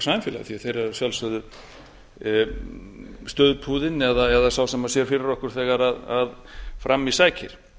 samfélagi þeir eru að sjálfsögðu stuðpúðinn eða sá sem sér fyrir okkur þegar fram í sækir